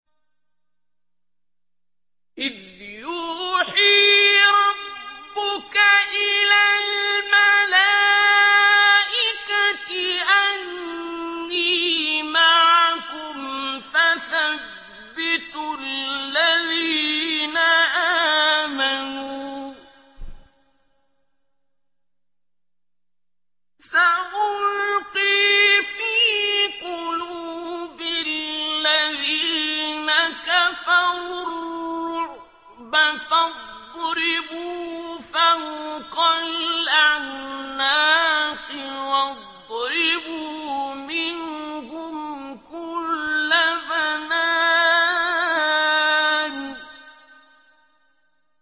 إِذْ يُوحِي رَبُّكَ إِلَى الْمَلَائِكَةِ أَنِّي مَعَكُمْ فَثَبِّتُوا الَّذِينَ آمَنُوا ۚ سَأُلْقِي فِي قُلُوبِ الَّذِينَ كَفَرُوا الرُّعْبَ فَاضْرِبُوا فَوْقَ الْأَعْنَاقِ وَاضْرِبُوا مِنْهُمْ كُلَّ بَنَانٍ